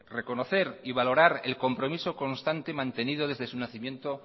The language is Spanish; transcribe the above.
reconocer y valorar el compromiso constante y mantenido desde su nacimiento